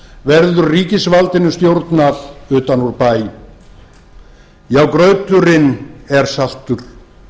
verður ríkisvaldinu stjórnað utan úr bæ já grauturinn er saltur